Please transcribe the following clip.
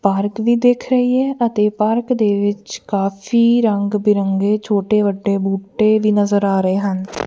Park ਵੀ ਦਿੱਖ ਰਹੀ ਹੈ ਅਤੇ ਪਾਰਕ ਦੇ ਵਿੱਚ ਕਾਫੀ ਰੰਗ ਬਿਰੰਗੇ ਛੋਟੇ ਵੱਡੇ ਬੂਟੇ ਵੀ ਨਜ਼ਰ ਆ ਰਹੇ ਹਨ।